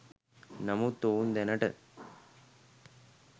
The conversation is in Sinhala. නමුත් ඔවුන් දැනට